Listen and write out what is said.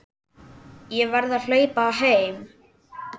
Ég verð að hlaupa heim.